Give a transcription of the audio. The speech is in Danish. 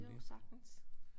Jo sagtens